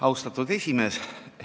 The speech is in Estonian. Austatud esimees!